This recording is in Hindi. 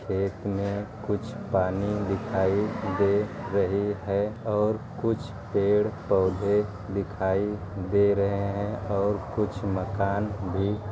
खेत मे कुछ पानी दिखाई दे रहे हे ओर कुछ पेड़ पोधे दिखाई दे रहे हे ओर कुछ मकान भी --